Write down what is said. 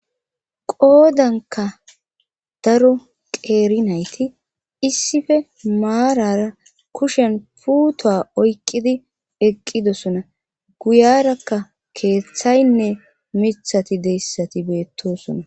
qoodanka daro qeeri nayti issife maarara kushen puutoa oyqidi eqqidosona guyarakka keeththaynne mithati deyssati beettosona